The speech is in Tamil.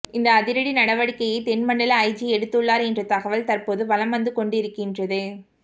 இந்த அதிரடி நடவடிக்கையை தென்மண்டல ஐஜி எடுத்து உள்ளார் என்ற தகவல் தற்போது வலம் வந்து கொண்டிருக்கின்றன